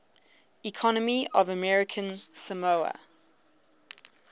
economy of american samoa